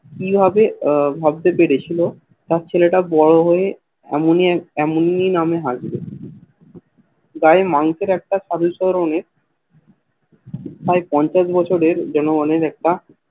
কি হবে ভাবতে পেরেছিল তার ছেলেটা বড় হয়ে অমনি এমনই নাম এ হাসবে গায়ে মাংসের একটা সাধুচরণের প্রায় পঞ্চাশ বছরের যেন মনের